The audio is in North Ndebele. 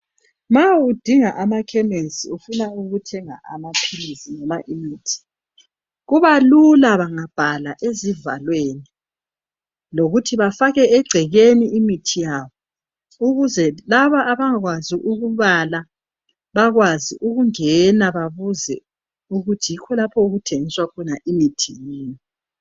Nxa udinga amakhemisi ufuna ukuthenga amaphilisi noma imithi kuba lula bangabhala ezivalweni lokuthi bafake egcekeni imithi yabo ukuze laba abangakwazi ukubala bakwazi ukungena babuze ukuthi yikho lapho okuthengiswa khona imithi yini.